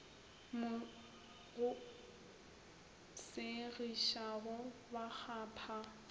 mo go segišago ba kgapha